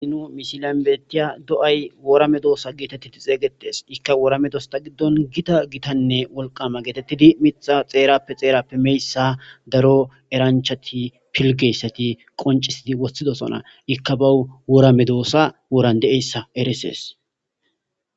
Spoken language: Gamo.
Sinu misilambetiya do'ay woora me doosa geetettidi xeeygetes ikka wooramedosta giddon gita gitanne wolqama geetettidi mixa xeerappe xeerappe meyssa daro eranchati pilgeyssati qoncisidi wossidosona ikka ba woramedoosa woran de7eyssa eresees.